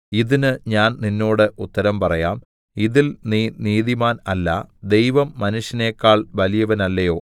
ഇതിന് ഞാൻ നിന്നോട് ഉത്തരം പറയാം ഇതിൽ നീ നീതിമാൻ അല്ല ദൈവം മനുഷ്യനേക്കാൾ വലിയവനല്ലയോ